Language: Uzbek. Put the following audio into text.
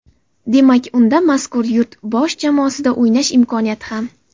Demak, unda mazkur yurt bosh jamoasida o‘ynash imkoniyati ham.